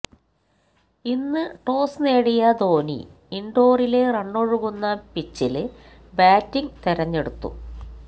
ഇന്ന് ടോസ് നേടിയ ധോനി ഇന്ഡോറിലെ റണ്ണൊഴുകുന്ന പിച്ചില് ബാറ്റിങ് തിരഞ്ഞെടുത്തു